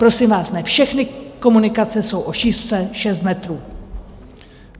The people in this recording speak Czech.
Prosím vás, ne všechny komunikace jsou o šířce šest metrů.